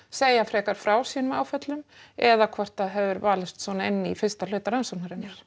segja frekar frá sínum áföllum eða hvort að hefur valist svona inn í fyrsta hluta rannsóknarinnar